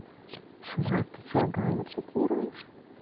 шмат ты что галю цитируешь